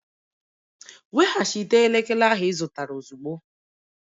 Weghachite elekere ahụ ị zụtara ozugbo!